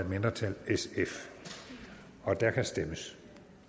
mindretal og der kan stemmes